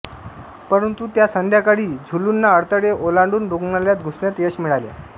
परंतु त्या संध्याकाळी झुलूंना अडथळे ओलांडून रुग्णालयात घुसण्यात यश मिळाले